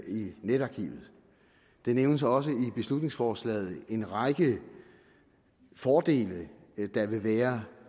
i netarkivet der nævnes også i beslutningsforslaget en række fordele der vil være